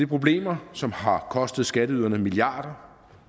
problemer som har kostet skatteyderne milliarder